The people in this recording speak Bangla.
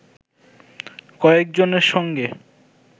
কয়েকজনের সঙ্গে